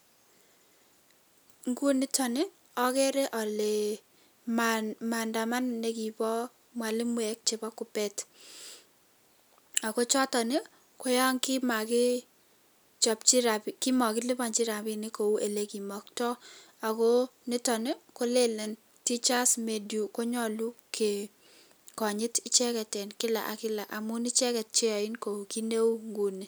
Nguni nitok ageere ale maandamano nekibo mwalimuek chekipo Kuppet ako choton koyon kimakilipanchi rapinik kou olekimaktoi ako niton kolelen teachers due konyolu kekonyit icheket eng kila ak kila amun icheket cheyoin tuguk cheu inguni.